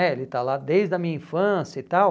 é, Ele está lá desde a minha infância e tal.